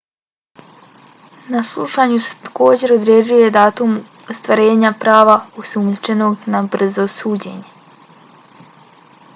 na saslušanju se također određuje datum ostvarenja prava osumnjičenog na brzo suđenje